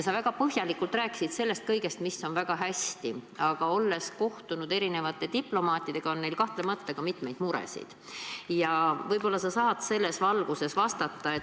Sa väga põhjalikult rääkisid kõigest, mis on väga hästi, aga olles kohtunud eri diplomaatidega, tead sa ka, et neil on kahtlemata mitmeid muresid.